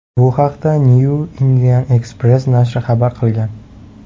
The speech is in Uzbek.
Bu haqda Newindianexpress nashri xabar qilgan .